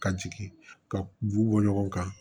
Ka jigin ka b'u bɔ ɲɔgɔn kan